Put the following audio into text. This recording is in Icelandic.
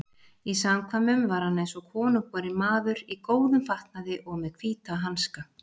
Í samkvæmum var hann eins og konungborinn maður, í góðum fatnaði og með hvíta hanska.